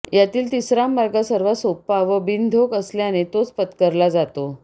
यातील तिसरा मार्ग सर्वात सोपा व बिनधोक असल्याने तोच पत्करला जातो